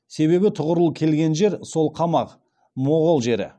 себебі тұғырыл келген жер сол қамақ моғұл жері